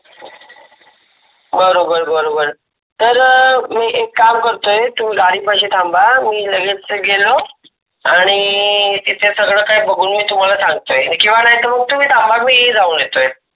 बरोबर बरोबर. तर मी एक काम करतोय तुम्ही गाडी पाशी थांबा, मी लगेच गेलो आणी तीत कस काय बघून घेईन तुम्हाला सांगतोय किवा नहीतर तुम्ही थांबाल मी जाऊन येतोय.